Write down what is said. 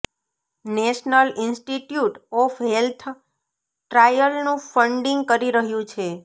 national Institute of Health ટ્રાયલનું funding કરી રહ્યું છે